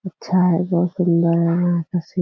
अच्छा है बहुत सुंदर है यहाँ का सीन --